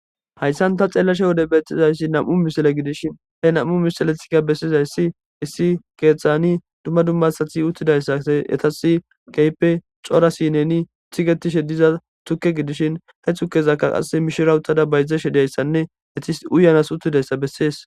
Hayissan taa xeelashshe ha'i wode betizayissi nam''u missile gidishshin hee nam''u missiletikka besizayiss issi keththanni dumma dumma asati yii uttidayissa etassi kehippe cora sinenni tigetishshe diza tukke gidishin he tukezzakka qaa mishshira uttada bayizashshe dizayissanne etti istyi uuanass uttidayissa besses.